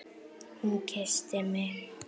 Hún kyssti mig!